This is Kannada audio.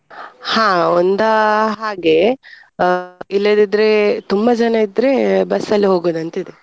ಹಾ ಒಂದಾ ಹಾಗೆ ಅಹ್ ಇಲ್ಲದಿದ್ರೆ ತುಂಬಾ ಜನ ಇದ್ರೆ ಅಲ್ಲಿ ಹೋಗುದಂತಿದೆ ಇದೆ.